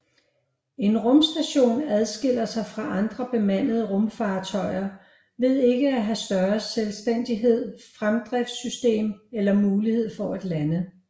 En rumstation adskiller sig fra andre bemandede rumfartøjer ved ikke at have større selvstændig fremdriftssystem eller mulighed for at lande